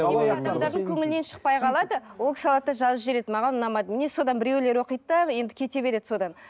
көңілінен шықпай қалады ол кісі алады да жазып жібереді маған ұнамады міне содан біреулер оқиды да енді кете береді содан